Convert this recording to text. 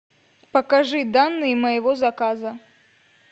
покажи данные моего заказа